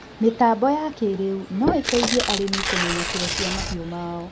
mĩtambo ya kĩrĩu no ĩteithie arĩmi kũmenya kilo cia mahiũ mao